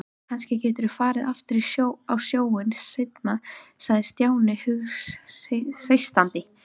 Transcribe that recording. Kannski geturðu farið aftur á sjóinn seinna sagði Stjáni hughreystandi.